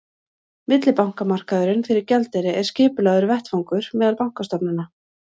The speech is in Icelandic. millibankamarkaður fyrir gjaldeyri er skipulagður vettvangur meðal bankastofnana